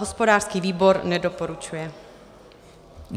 Hospodářský výbor nedoporučuje.